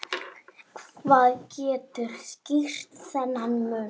Hvað getur skýrt þennan mun?